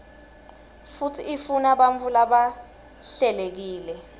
futsi ifunabantfu labahlelekile